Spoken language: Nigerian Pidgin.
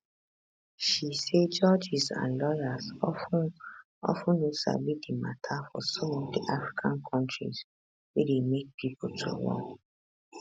she say judges and lawyers of ten of ten no sabi di mata for some of di african kontris wey dey make pipo to run